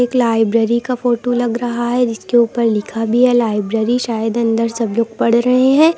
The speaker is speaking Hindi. लाइब्रेरी का फोटो लग रहा है जिसके ऊपर लिखा है लाइब्रेरी शायद अंदर सब लोग पढ़ रहे हैं।